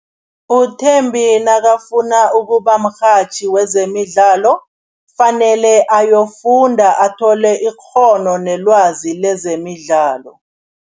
UThembi nakafuna ukuba mrhatjhi wezemidlalo, fanele ayofunda athole ikghono nelwazi lezemidlalo.